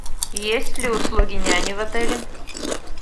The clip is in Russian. есть ли услуги няни в отеле